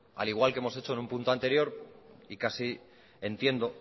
al igual que hemos hecho en un punto anterior y casi entiendo